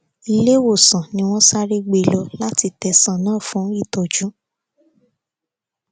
iléewòsàn ni wọn sáré gbé e lọ láti tẹsán náà fún ìtọjú